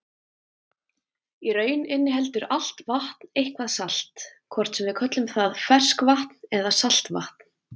Í raun inniheldur allt vatn eitthvað salt, hvort sem við köllum það ferskvatn eða saltvatn.